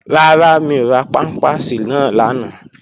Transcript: Rárá, mi ò ra pámpàsì náà lánàá